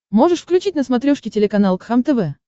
можешь включить на смотрешке телеканал кхлм тв